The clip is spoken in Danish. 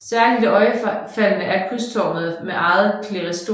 Særligt iøjnefaldende er krydstårnet med eget klerestorium